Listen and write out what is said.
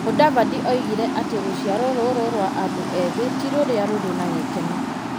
Mũdavadi oigire atĩ rũciaro rũrũ rũa andũ ethĩ ti rũrĩa rũrĩ na gĩkeno.